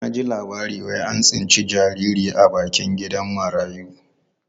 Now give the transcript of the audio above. Na ji a labarai wai an tsinci jariri a bakin gidan marayu.